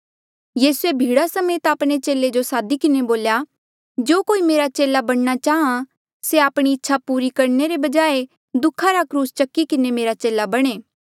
यीसूए भीड़ा समेत आपणे चेले जो सादी किन्हें बोल्या जो कोई मेरा चेला बणना चाहां से आपणी इच्छा पूरा करणे रे बजाए दुःखा रा क्रूस चकी किन्हें मेरा चेला बणे